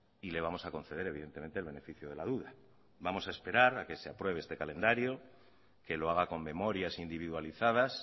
y le vamos a conceder evidentemente el beneficio de la duda vamos a esperar a que se apruebe este calendario que lo haga con memorias individualizadas